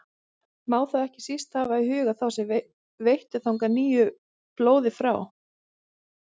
Má þá ekki síst hafa í huga þá sem veittu þangað nýju blóði frá